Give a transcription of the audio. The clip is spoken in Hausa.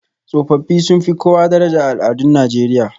Tsofaffi sun fi kowa daraja a al'adun Najeriya